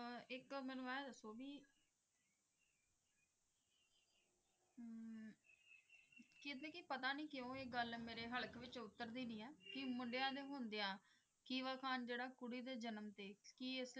ਇਕ ਮੈਨੂੰ ਏ ਦੱਸੋ ਕਿ ਕਹਿੰਦੇ ਕਿ ਪਤਾ ਨੀ ਕਿਉਂ ਇਕ ਗੱਲ ਮੇਰੀ ਹਲਾਕ ਵਿੱਚੋ ਉਤਾਰਦੀ ਨਹੀਂ ਹੈ ਕਿ ਮੁੰਡਿਆਂ ਦੇ ਹੁੰਦਿਆਂ ਕੁੜੀ ਦੇ ਜਨਮ ਤੇ।